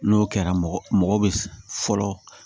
N'o kɛra mɔgɔ mɔgɔ bɛ fɔlɔ